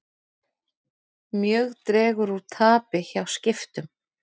Mjög dregur úr tapi hjá Skiptum